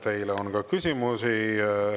Teile on ka küsimusi.